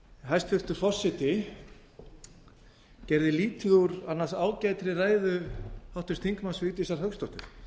hæstvirtur forseti gerði lítið úr annars ágætri ræðu háttvirts þingmanns vigdísar hauksdóttur